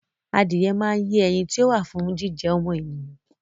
Adìyẹ máa ń lé ẹyin ti ó wà fún jíjẹ ọmọ ènìyàn